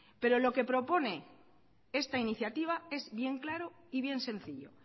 pero lo que propone esta iniciativa es bien claro y bien sencillo